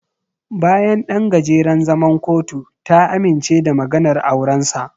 Bayan ɗan gajeren zaman kotu, ta amince da maganar aurensa.